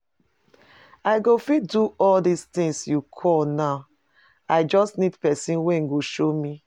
I go fit do all dis things you call now, I just need person wey go show me